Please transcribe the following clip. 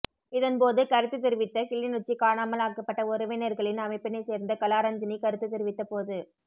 இதன் போது கருத்து தெரிவித்த கிளிநொச்சி காணாமல் ஆக்கப்பட்ட உறவினர்களின் அமைப்பினைச் சேர்ந்த கலாரஞ்சனி கருத்து தெரிவித்த போது